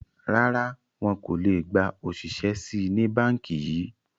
Rárá, wọn kò le gba òṣìṣẹ́ síí ni Báńkì yìí